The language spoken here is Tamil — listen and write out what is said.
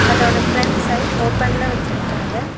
அதோட ஃப்ரண்ட் சைடு ஓப்பன்ல வச்சிருக்காங்க.